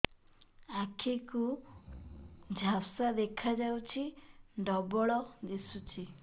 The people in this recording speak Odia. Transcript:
ଆଖି କୁ ଝାପ୍ସା ଦେଖାଯାଉଛି ଡବଳ ଦିଶୁଚି